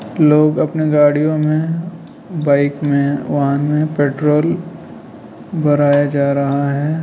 लोग अपने गाड़ियों मे बाइक मे वाहन में पेट्रोल भराया जा रहा है।